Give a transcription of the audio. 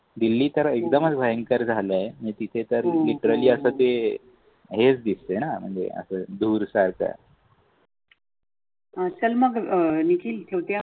आह चल मग अं निखील ठेवते अं